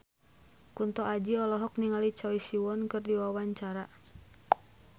Kunto Aji olohok ningali Choi Siwon keur diwawancara